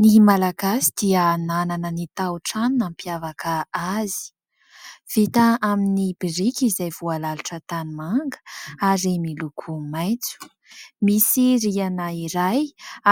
Ny malagasy dia nanana ny tao trano nampiavaka azy ; vita amin'ny biriky izay voalalotra tanimanga ary miloko maitso ; misy rihana iray